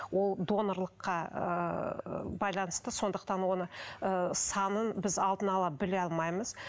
ол донорлыққа ыыы байланысты сондықтан оны ыыы санын біз алдын ала біле алмаймыз